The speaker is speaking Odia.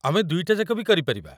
ଆମେ ଦୁଇଟାଯାକ ବି କରିପାରିବା ।